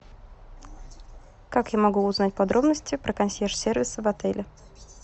как я могу узнать подробности про консьерж сервис в отеле